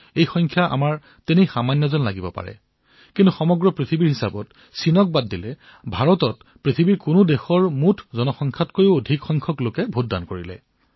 এই সংখ্যা দেখাত কম হলেও যদি বিশ্বৰ হিচাপত প্ৰত্যক্ষ কৰো তেন্তে চীনক বাদ দি আন দেশৰ সৰ্বমুঠ জনতাতকৈও অধিক লোকে এইবাৰ ভোটদান কৰিছে